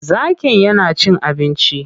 Zakin ya na cin abinci.